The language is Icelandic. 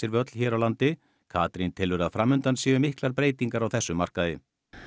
völl hér á landi Katrín telur að fram undan séu miklar breytingar á þessum markaði